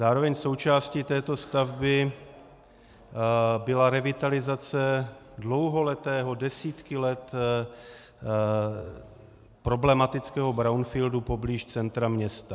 Zároveň součástí této stavby byla revitalizace dlouholetého, desítky let problematického brownfieldu poblíž centra města.